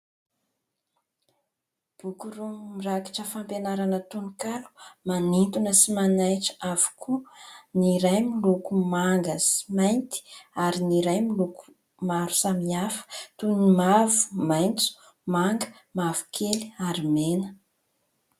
Boky roa mirakitra fampianarana tononkalo, manintona sy manaitra avokoa. Ny iray miloko manga sy mainty, ary ny iray miloko maro samy hafa toy ny mavo, maitso, manga, mavokely ary mena.